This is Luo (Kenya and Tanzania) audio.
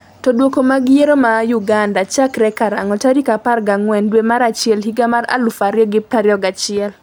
to Duoko mag yiero ma Uganda chakre karang'o tarik 14 dwe mar achiel higa mar 2021?